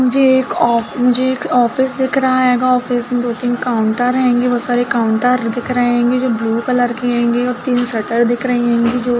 मुझे एक ऑफ़ मुझे एक ऑफिस दिख रहा हैगा। ऑफिस दो तीन काउंटर हैंगे वो सारे काउंटर दिख रहे हैंगे जो ब्लू कलर की हैंगे और तीन शटर दिख रही हैंगी जो --